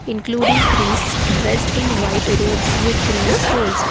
including trees dressed in white rops with green stols.